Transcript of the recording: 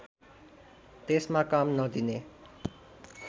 त्यसमा काम नदिने